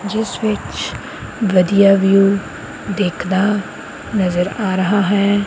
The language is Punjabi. ਜਿਸ ਵਿੱਚ ਵਧੀਆ ਵਿਊ ਦਿਖਦਾ ਨਜ਼ਰ ਆ ਰਹਾ ਹੈ।